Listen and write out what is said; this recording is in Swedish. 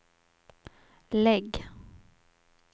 lägg